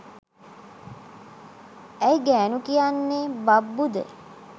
ඇයි ගෑනු කියන්නේ බබ්බු ද?